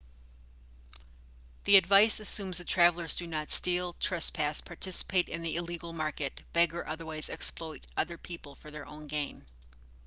the advice assumes that travellers do not steal trespass participate in the illegal market beg or otherwise exploit other people for their own gain